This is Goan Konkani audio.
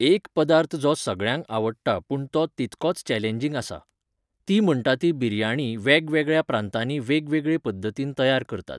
एक पदार्थ जो सगळ्यांक आवडटा पूण तो तितकोच चॅलेंजींग आसा. ती म्हणटा ती बिर्याणी वेगवेगळ्या प्रांतानी वेगवेगळे पद्दतीन तयार करतात.